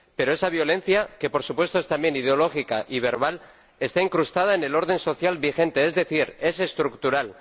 Pero esa violencia, que, por supuesto, es también ideológica y verbal, está incrustada en el orden social vigente, es decir, es estructural.